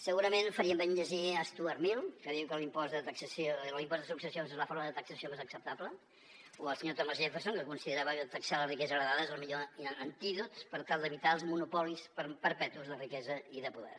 segurament farien bé en llegir stuart mill que diu que l’impost de successions és la forma de taxació més acceptable o el senyor thomas jefferson que considerava que taxar la riquesa heretada és el millor antídot per tal d’evitar els monopolis perpetus de riquesa i de poder